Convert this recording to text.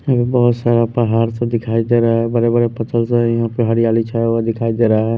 यहाँ पे बहुत सारा पहाड़ सा दिखाई दे रहा है बड़े बड़े पत्थर से हैं यहाँ पे हरियाली छाया हुआ दिखाई दे रहा है।